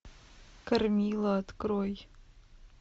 кормила открой